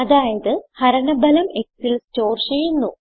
അതായത് ഹരണ ഫലം xൽ സ്റ്റോർ ചെയ്യുന്നു